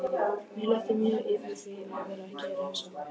Mér létti mjög yfir því að vera ekki refsað.